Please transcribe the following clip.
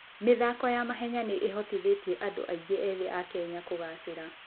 mĩthako ya mahenya nĩ ĩhotithĩtie andũ aingĩ ethĩ a Kenya kũgaacĩra.